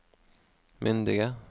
myndige